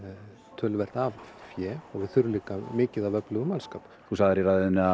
töluvert af fé og við þurfum líka mikið af öflugum mannskap þú sagðir í ræðu þinni að